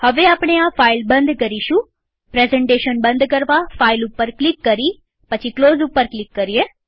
હવે આપણે આ ફાઈલ બંધ કરીશુંપ્રેઝન્ટેશન બંધ કરવા ફાઈલ ઉપર ક્લિક કરી ક્લોઝ ઉપર ક્લિક કરીએ